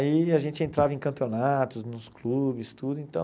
Aí a gente entrava em campeonatos, nos clubes, tudo, então...